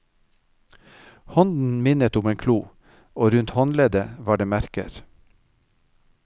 Hånden minnet om en klo, og rundt håndleddet var det merker.